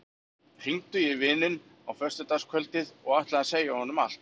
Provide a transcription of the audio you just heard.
Hringdi í vininn á föstudagskvöldið og ætlaði að segja honum allt.